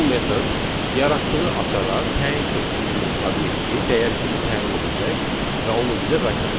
bu metod yaratdığı açara təyin etdiyimiz obyekti dəyər kimi təyin edəcək və onu bizə qaytaracaq.